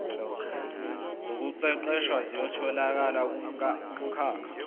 zokuqeqesha ziyatholakala kumkhakha